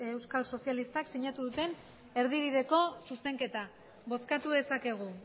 euskal sozialistak sinatu duten erdibideko zuzenketa bozkatu dezakegu